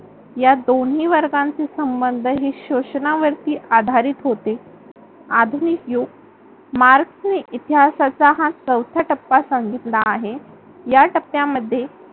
या दोन्ही वर्गांचे संबंध हे शोषणावरती आधारित होती. आधुनिक युग मार्क्सने इतिहासाचा हा चौथा टप्पा सांगितला आहे या टप्प्यामध्ये